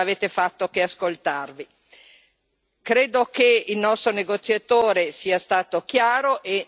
Credo che il nostro negoziatore sia stato chiaro e apprezzo il lavoro che sta facendo.